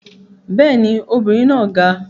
Bẹ́ẹ̀ ni, obìnrin náà ga